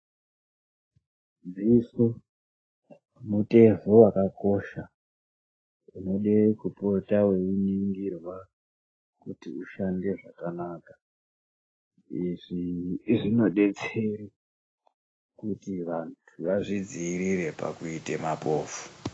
Dziso mutezo wakakosha unoda kopota weiningirwa kuti ushande zvakanaka izvi zvinobetsera kuti vanhu vazvidziirire kuita mapofu